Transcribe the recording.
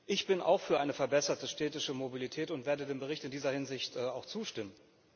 Ich bin auch für eine verbesserte städtische Mobilität und werde dem Bericht in dieser Hinsicht auch zustimmen.